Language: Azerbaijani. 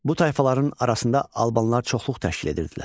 Bu tayfaların arasında albanlar çoxluq təşkil edirdilər.